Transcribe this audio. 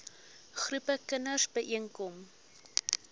groepe kinders byeenkom